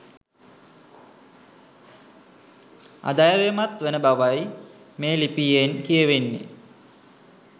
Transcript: අධෛර්යමත් වන බවයි මේ ලිපියෙන් කියවෙන්නේ